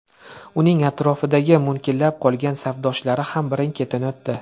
Uning atrofidagi munkillab qolgan safdoshlari ham birin-ketin o‘tdi.